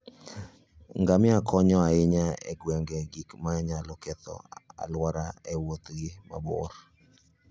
Ngamia konyo ahinya e geng'o gik manyalo ketho alwora e Wuothgi mabor.